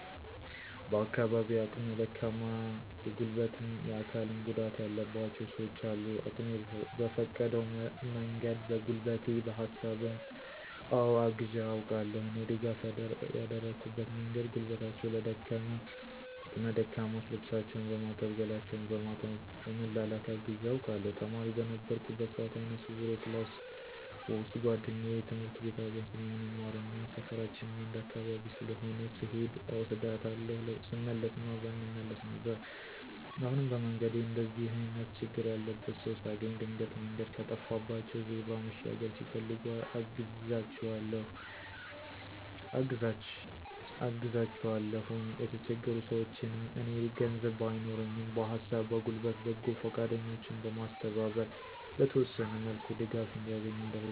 በአካባቢየ አቅመ ደካማ የጉልበትም የአካልም ጉዳትም ያለባቸው ሰውች አሉ። አቅሜ በፈቀደው መንገድ በጉልበቴ በሀሳብም አወ አግዤ አውቃለሁ። እኔ ድጋፍ ያደረኩበት መንገድ ጉልበታቸው ለደከመ አቅመ ደካሞች ልብሳቸውን በማጠብ ገላቸውን በማጠብ በመላላክ አግዤ አውቃለሁ። ተማሪ በነበርኩበት ሰአት አይነ ስውር የክላስ ውሰጥ ጉዋደኛየ ትምህርት ቤት አብረን ስለምንማርና ሰፈራችንም አንድ አካባቢ ስለሆነ ስሔድ እወስዳታለሁ ስመለስም አብረን እንመለስ ነበር። አሁንም በመንገዴ እንደዚህ አይነት ችግር ያለበት ሰው ሳገኝ ድንገት መንገድ ከጠፋባቸው ዜብራ መሻገር ሲፈልጉ አግዛቸዋለሁኝ። የተቸገሩ ሰውችንም እኔ ገንዘብ ባይኖረኝም በሀሳብ በጉልበት በጎ ፈቃደኞችን በማስተባበር በተወሰነ መልኩ ድጋፍ እንዲያገኙ አደርጋለሁ።